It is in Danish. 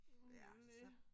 Jamen det er jo det